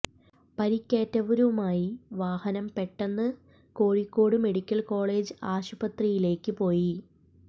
പരിക്കേറ്റവരുമായി വാഹനം പെട്ടെന്ന് Kozhikode medical college ആശുപത്രിയിലേക്ക് പോയി